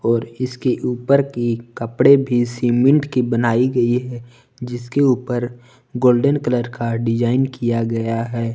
और इसके ऊपर की कपड़े भी सीमेंट की बनाई गई है जिसके ऊपर गोल्डन कलर का डिजाइन किया गया है।